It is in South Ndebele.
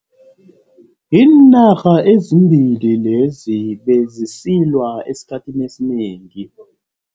Iinarha ezimbili lezi bezisilwa esikhathini esinengi.